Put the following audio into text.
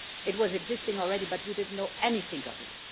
It existed already but we didn't know anything of it.